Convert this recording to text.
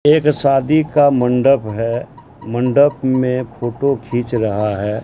एक शादी का मंडप है मंडप में फोटो खींच रहा है।